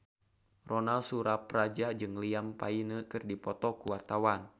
Ronal Surapradja jeung Liam Payne keur dipoto ku wartawan